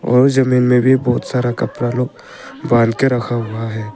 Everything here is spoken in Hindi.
और जमीन में भी बहुत सारा कपड़ा लोग बांध के रखा हुआ है।